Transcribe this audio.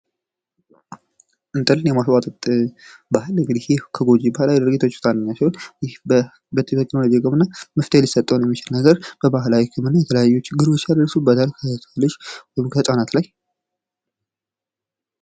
እንጥልን የማስቧጠጥ ባህል እንግዲህ ከጎጅ ባህል ይባላል። ይህ መፍትሔ ሊሰጠዉ የሚችል ነገር በባህላዊ ህክምና የተለያዩ ችግሮች ያሉት በህፃናት ላይ።